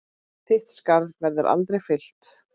Þitt skarð verður aldrei fyllt.